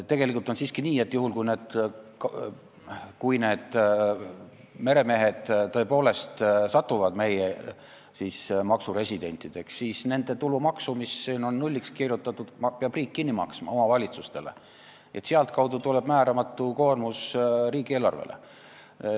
Tegelikult on siiski nii, et kui need meremehed tõepoolest saavad meie maksuresidentideks, siis nende tulumaksu, mis eelnõus on nulliks kirjutatud, peab riik kinni maksma omavalitsustele ja nii tuleb määramatu lisakoormus riigieelarvele.